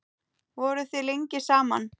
Voruð þið lengi saman?